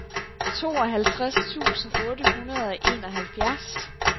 tooghalvtreds tusind otte hundrede og enoghalvfjerds